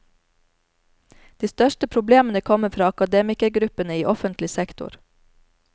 De største problemene kommer fra akademikergruppene i offentlig sektor.